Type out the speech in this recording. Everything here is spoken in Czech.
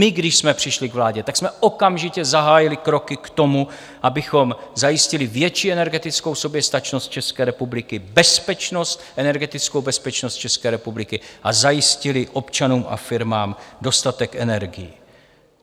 My když jsme přišli k vládě, tak jsme okamžitě zahájili kroky k tomu, abychom zajistili větší energetickou soběstačnost České republiky, bezpečnost - energetickou bezpečnost České republiky, a zajistili občanům a firmám dostatek energií.